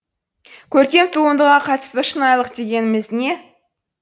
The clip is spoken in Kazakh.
көркем туындыға қатысты шынайлық дегеніміз не